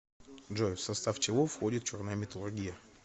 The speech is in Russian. джой в состав чего входит черная металлургия